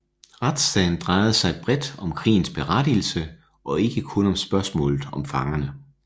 Retssagen drejede sig bredt om krigens berettigelse og ikke kun om spørgsmålet om fangerne